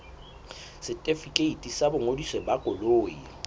setefikeiti sa boingodiso ba koloi